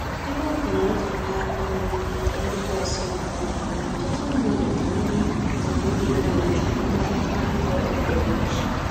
Ebe ọ bụ na mfanye aka n'ukwu nke ndi bọs na-aga n'ihu, ọtụtụ mmadụ na ndị agbata obi ha na-eji ụgbọ ala na-aga ọrụ kwa ụbọchị.